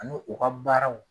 Ani u ka baararaw